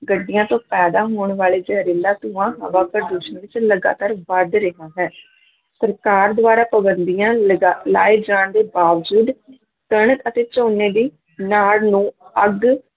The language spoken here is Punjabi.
ਗੱਡੀਆਂ ਤੋਂ ਪੈਦਾ ਹੋਣ ਵਾਲੇ ਜ਼ਹਰੀਲਾ ਧੂੰਆਂ ਹਵਾ ਪ੍ਰਦੂਸ਼ਣ ਵਿੱਚ ਲਗਾਤਾਰ ਵੱਧ ਰਿਹਾ ਹੈ ਸਰਕਾਰ ਦੁਆਰਾ ਪਾਬੰਦੀਆਂ ਲਗਾ ਲਾਏ ਜਾਣ ਦੇ ਬਾਵਜੂਦ ਕਣਕ ਅਤੇ ਝੋਨੇ ਦੀ ਨਾੜ ਨੂੰ ਅੱਗ